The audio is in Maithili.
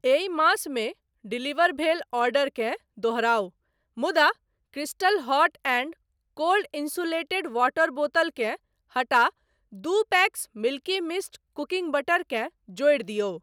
एहि मास मे डिलीवर भेल ऑर्डरकेँ दोहराउ मुदा crystal hot and cold insulated water बोतल केँ हटा दू packs Milky Mist cooking butter केँ जोड़ि दियौ।